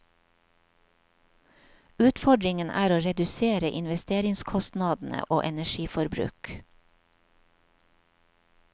Utfordringen er å redusere investeringskostnadene og energiforbruk.